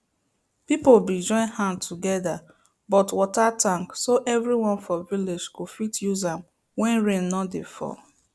people been join hand together but water tank so everyone for village go fit use am when rain no dey fall